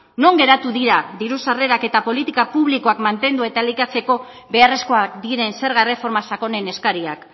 non geratu dira diru sarrerak eta politika publikoak mantendu eta elikatzeko beharrezkoak diren zerga erreforma sakonen eskariak